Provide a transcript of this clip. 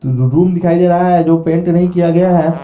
रू रूम दिखाई दे रहा है जो पेंट नहीं किया गया है।